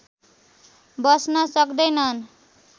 बस्न सक्दैनन्